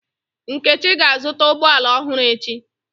Nkechi ga-azụta ụgbọ ala ọhụrụ echi.